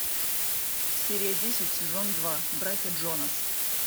серия десять сезон два братья джонас